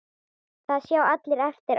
Það sjá allir eftir á.